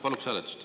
Paluks hääletust.